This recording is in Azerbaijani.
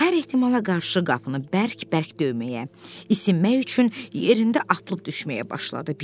Hər ehtimala qarşı qapını bərk-bərk döyməyə, isinmək üçün yerində atılıb-düşməyə başladı.